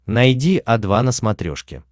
найди о два на смотрешке